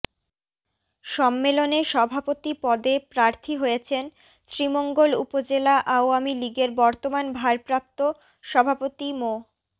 সম্মেলনে সভাপতি পদে প্রার্থী হয়েছেন শ্রীমঙ্গল উপজেলা আওয়ামী লীগের বর্তমান ভারপ্রাপ্ত সভাপতি মো